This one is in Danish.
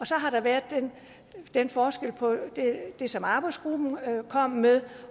så har der været den forskel på det som arbejdsgruppen kom med